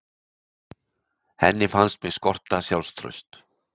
Henni fannst mig skorta sjálfstraust.